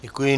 Děkuji.